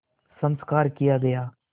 संस्कार किया गया